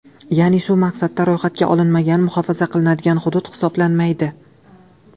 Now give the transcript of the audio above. Ya’ni shu maqsadda ro‘yxatga olinmagan, muhofaza qilinadigan hudud hisoblanmaydi.